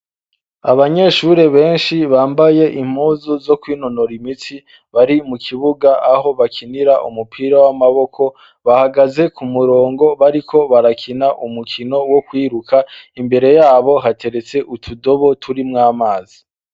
Abanyeshuri benshi bambaye impuzu zo kwinonora imitsi bari mu kibuga aho bakinira umupira w'amaboko bahagaze ku murongo bariko barakina umukino wo kwiruka imbere yabo hateretse utudobo turimwo amazi.